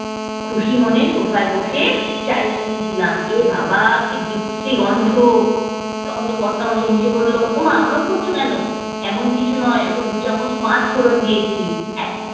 খুশি মনে sofa ই বসে চায়ে চুমুক দিলাম, এ বাবা কি বিশ্রী গন্ধ। তখন তো কর্তা মশাই হেঁসে বললো ওমা ওরম করছো কেন? এমন কিছু নয় ওতে দু চামচ পাঁচফোড়ন দিয়েছি। এক